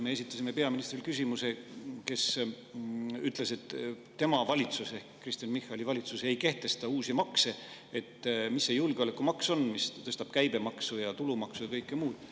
Me esitasime peaministrile, kes ütles, et tema valitsus ehk Kristen Michali valitsus ei kehtesta uusi makse, küsimuse, et mis see julgeolekumaks on, mis tõstab käibemaksu ja tulumaksu ja kõike muud.